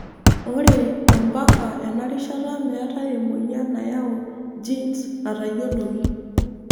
Ore ompaka ena rishata metae emoyian nayau genes natayioloki.